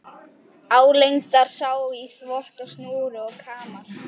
Álengdar sá í þvott á snúru og kamar.